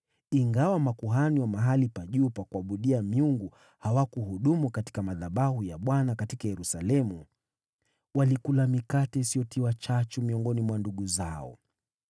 Ingawa makuhani wa mahali pa juu pa kuabudia miungu hawakuhudumu katika madhabahu ya Bwana katika Yerusalemu, walikula mikate isiyotiwa chachu miongoni mwa ndugu zao.